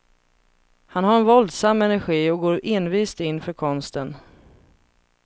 Han har en våldsam energi och går envist in för konsten.